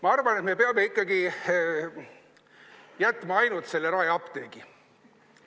Ma arvan, et me peame ikkagi jätma alles ainult Raeapteegi.